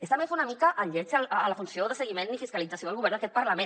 està bé fer una mica el lleig a la funció de seguiment i fiscalització del govern d’aquest parlament